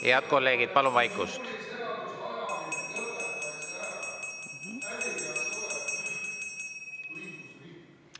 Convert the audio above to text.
Head kolleegid, palun vaikust!